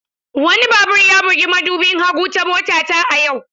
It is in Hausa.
Wani babur ya bugi madubin hagu ta motata a yau.